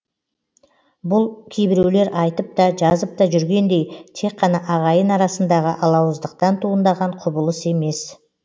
бұл кейбіреулер айтып та жазып та жүргендей тек қана ағайын арасындағы алауыздықтан туындаған құбылыс емес